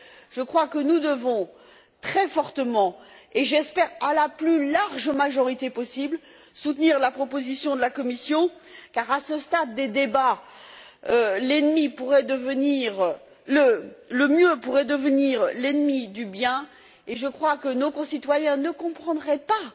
je crois que nous devons très fortement et j'espère à la plus large majorité possible soutenir la proposition de la Commission, car, à ce stade des débats, le mieux pourrait devenir l'ennemi du bien, et je pense que nos concitoyens ne comprendraient pas